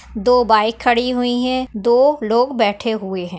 दो बाइक खड़ी हुई है दो लोग बैठे हुए है।